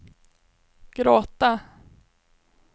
gråta